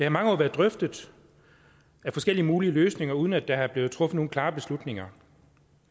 i mange år været drøftet forskellige mulige løsninger uden at der er blevet truffet nogen klare beslutninger